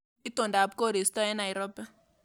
Itondap koristo eng Nairobi